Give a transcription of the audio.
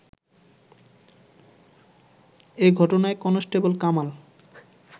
এ ঘটনায় কনস্টেবল কামাল